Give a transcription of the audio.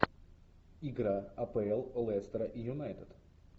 игра апл лестера и юнайтед